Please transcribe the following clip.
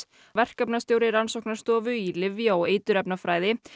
verkefnastjóri rannsóknarstofu í lyfja og eiturefnafræði